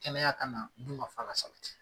Kɛnɛya ka na, dun ka fa ka sabati.